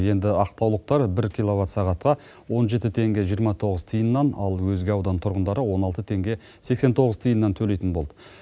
енді ақтаулықтар бір киловат сағатқа он жеті тенге жиырма тоғыз тиыннан ал өзге аудан тұрғындары он алты теңге сексен тоғыз тиыннан төлейтін болды